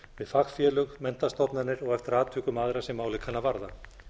fagfélög menntastofnanir og eftir atvikum aðra sem málið kann að varða